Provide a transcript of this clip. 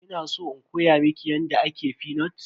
Kina san in koya miki yadda ake fenut?